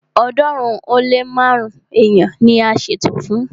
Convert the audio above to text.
ọ̀ọ́dúnrún ó lé márùn-ún èèyàn ni a ṣètò fún